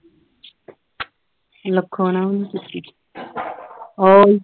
ਲੱਖੋਂ ਨਾਲ ਵੀ ਨਹੀਂ ਕੀਤੀ